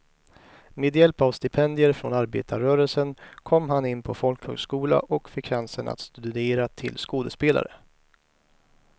Med hjälp av stipendier från arbetarrörelsen kom han in på folkhögskola och fick chansen att studera till skådespelare.